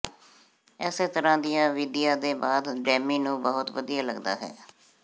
ਇਸੇ ਤਰ੍ਹਾਂ ਦੀਆਂ ਵਿਧੀਆਂ ਦੇ ਬਾਅਦ ਡੈਮੀ ਨੂੰ ਬਹੁਤ ਵਧੀਆ ਲੱਗਦਾ ਹੈ